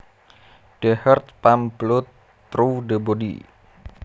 The heart pumps blood through the body